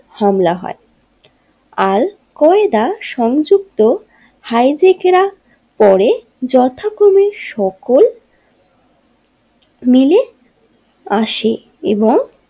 হামলা হয় al Qaeda সংযুক্ত হাইজাকিরা পরে যথাক্রমে সকল মিলে আসে এবং।